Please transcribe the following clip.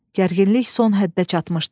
Gərginlik son həddə çatmışdı.